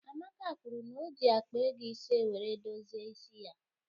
Amaka kwuru n'oji akpa ego ise wéré dozie ịsị ya